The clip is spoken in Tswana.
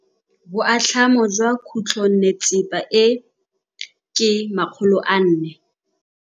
Boatlhamô jwa khutlonnetsepa e, ke 400.